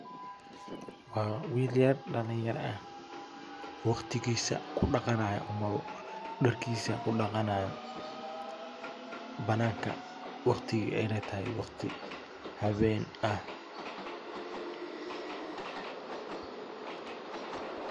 Waa wil yar dhalinyara eh oo waqtigisa ku dhaqanaya ama dharkisa ku dhaqanaya bananka. Wqtiga ayna tahay waqti hawen ah.